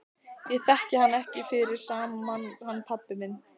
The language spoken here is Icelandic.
Ég þekki hann ekki fyrir sama mann hann pabba þinn.